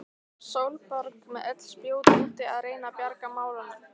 Sólborg með öll spjót úti að reyna að bjarga málunum.